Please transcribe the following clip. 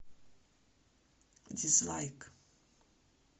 дизлайк